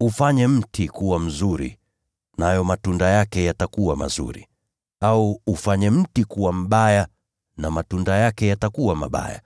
“Ufanye mti kuwa mzuri, nayo matunda yake yatakuwa mazuri. Au ufanye mti kuwa mbaya, na matunda yake yatakuwa mabaya.